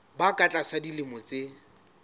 ba ka tlasa dilemo tse